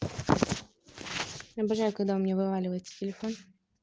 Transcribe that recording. обожаю когда у меня вываливается телефон